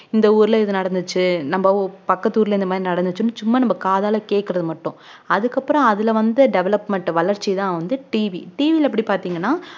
இந்த ஊர்ல இது நடந்துச்சு நம்ம ஊ~ பக்கத்து ஊர்ல இந்த மாதிரி நடந்துச்சுன்னு சும்மா நம்ம காதால கேக்குறது மட்டும் அதுக்கப்புறம் அதுல வந்து development வளர்ச்சிதான் வந்து TVTV ல எப்படி பார்த்தீங்கன்னா